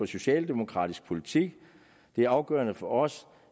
socialdemokratisk politik det er afgørende for os